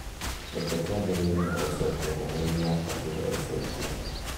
Reke twambĩrĩrie na gũcokia ndũmĩrĩri ya fatuma ya ica ikuhĩ